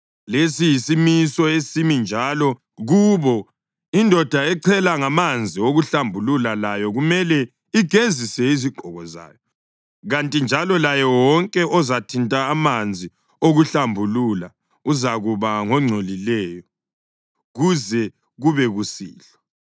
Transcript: Lesi yisimiso esimi njalo kubo. Indoda echela ngamanzi okuhlambulula layo kumele igezise izigqoko zayo, kanti njalo laye wonke ozathinta amanzi okuhlambulula uzakuba ngongcolileyo kuze kube kusihlwa.